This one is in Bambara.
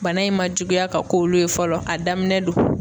Bana in ma juguya ka k'olu ye fɔlɔ, a daminɛ don.